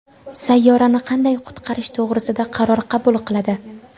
sayyorani qanday qutqarish to‘g‘risida qaror qabul qiladi.